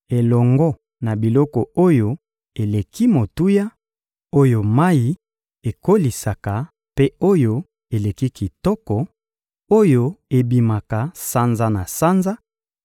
elongo na biloko oyo eleki motuya, oyo mayi ekolisaka mpe oyo eleki kitoko, oyo ebimaka sanza na sanza;